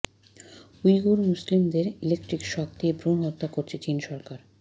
Uyghur মুসলিমদের electric shock দিয়ে ভ্রুণ হত্যা করছে চীন সরকার